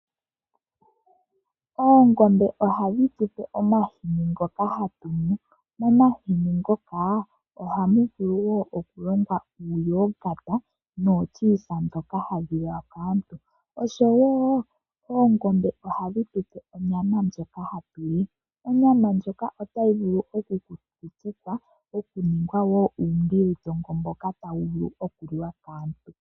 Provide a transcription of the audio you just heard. Oongombe ohadhi tu pe omahini ngoka hatu nu, momahini ngoka ohamu vulu wo okulongwa uuyogata noolyuwisa ndhoka hadhi nuwa kaantu. Oshowo oongombe ohadhi tu pe onyama ndjoka hatu li, onyama ndjoka otayi vulu okukutikwa etayi ningwa woo uubilitongo mboka tawu vulu okuliwa kaantu.